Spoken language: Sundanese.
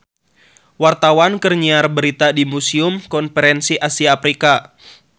Wartawan keur nyiar berita di Museum Konferensi Asia Afrika